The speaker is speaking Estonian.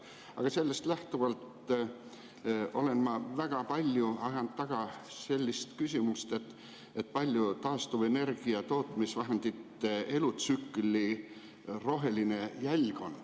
Aga sellest lähtuvalt olen ma väga palju ajanud taga sellist küsimust, et kui suur on taastuvenergia tootmisvahendite elutsükli roheline jälg.